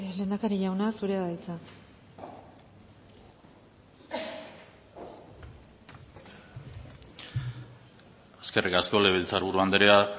lehendakari jauna zurea da hitza eskerrik asko legebiltzar buru andrea